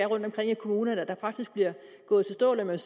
rundtomkring i kommunerne faktisk bliver gået til stålet om jeg